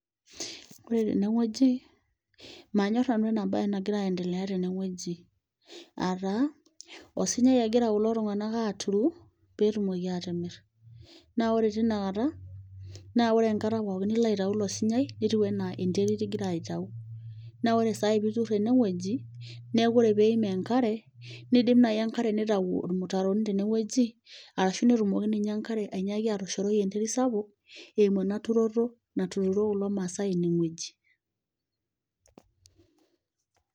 Ooore teene wueji, manyor nanu eena baye nagira aiendelea teene wueji. Aah taa, osunyai egira kulo tung'anak aturu, peyie etumoki atimir. Naa oore teina kata, naa ore enkata pooki nilo aitau iilo sunyai netiu enaa enterit igira aitau. Naa oore saa hii peyie eitur eene wueji naa oore peyie eeim enkare, neidim naaji enkare neitau irmutaroni tene wueji, arashu netumoki ninye enkare ainyiaki atoshoroi enkare sapuk, eimu eena turoto natuturo kulo maasae eene wueji.